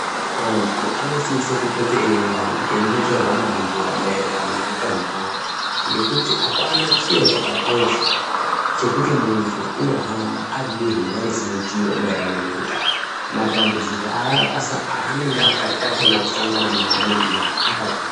Antu anosise kupote eiungana eimbochairwa mabembera maererano neutano hwawo ngekuti apana chiro chakakosha chekuti muntu unohamba aridehenya risina chiro maererano neutano, matambudziko aanenge akatarisa kusanaga nawo muntuwo akakura.